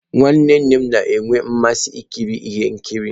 Nwanne nnem na-enwe mmasị ikiri ihe nkiri.